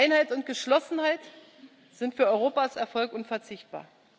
Einheit und Geschlossenheit sind für Europas Erfolg unverzichtbar.